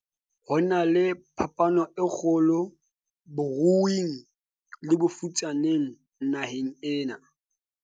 ho na le phapano e kgolo baruing le bafutsaneng naheng ena